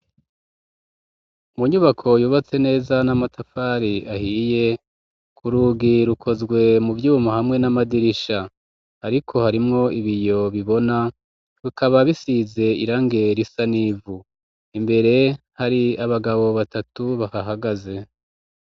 Mu nyubako yubatse neza n'amatafari ahiye, ku rugi rukozwe mu vyuma hamwe n'amadirisha, ariko harimwo ibiyo bibona rukaba bisize irangi risanivu, imbere hari abagabo batatu bahahagaze.